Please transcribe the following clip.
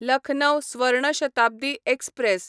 Lucknow Swarna Shatabdi express